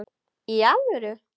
Í alvöru!